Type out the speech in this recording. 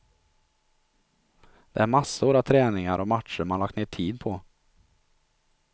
Det är massor av träningar och matcher man lagt ned tid på.